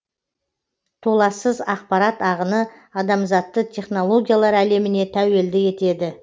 толассыз ақпарат ағыны адамзатты технологиялар әлеміне тәуелді етеді